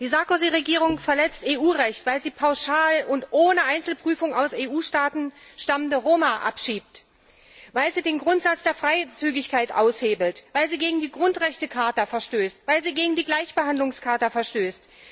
Die Sarkozy Regierung verletzt EU Recht, weil sie pauschal und ohne Einzelprüfung aus EU Staaten stammende Roma abschiebt, weil sie den Grundsatz der Freizügigkeit aushebelt, weil sie gegen die Grundrechtecharta verstößt, weil sie gegen die Gleichbehandlungscharta verstößt.